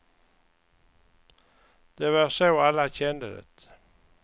Det var så alla kände det.